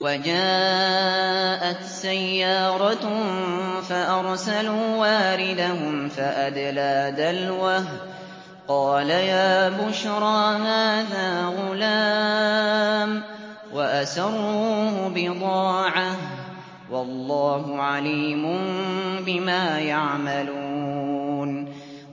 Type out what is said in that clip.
وَجَاءَتْ سَيَّارَةٌ فَأَرْسَلُوا وَارِدَهُمْ فَأَدْلَىٰ دَلْوَهُ ۖ قَالَ يَا بُشْرَىٰ هَٰذَا غُلَامٌ ۚ وَأَسَرُّوهُ بِضَاعَةً ۚ وَاللَّهُ عَلِيمٌ بِمَا يَعْمَلُونَ